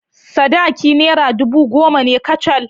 Sadaki naira ɗubu goma ne kacal.